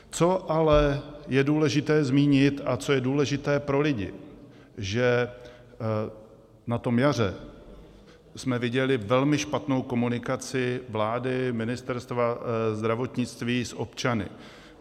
Co ale je důležité zmínit a co je důležité pro lidi, že na tom jaře jsme viděli velmi špatnou komunikaci vlády, Ministerstva zdravotnictví s občany.